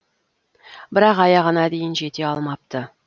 бірақ аяғына дейін жете алмапты